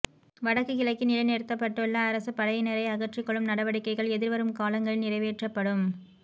வடக்குக் கிழக்கில் நிலைநிறுத்தப்பட்டுள்ள அரச படையினரை அகற்றிக்கொள்ளும் நடவடிக்கைகள் எதிர்வரும் காலங்களில் நிறைவேற்றப்படும்